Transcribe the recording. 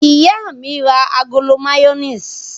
Ìyá mi ra agolo mayonnaise?